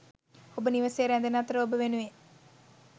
ඔබ නිවසේ ‍රැදෙන අතර ඔබ වෙනුවෙන් ...